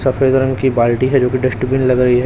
सफेद रंग की बाल्टी है जो की डस्टबिन लग रही है।